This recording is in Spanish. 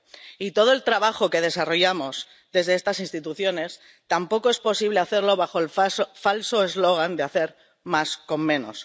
Y todo el trabajo que desarrollamos desde estas instituciones tampoco es posible hacerlo bajo el falso eslogan de hacer más con menos.